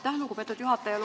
Aitäh, lugupeetud juhataja!